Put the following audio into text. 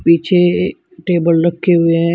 पीछे ये टेबल रखे हुए हैं।